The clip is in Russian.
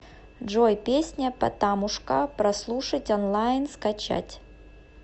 джой песня патамушка прослушать онлайн скачать